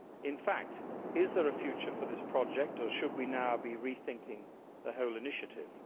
In fact, is there a future for this project or should we now be rethinking the whole initiative?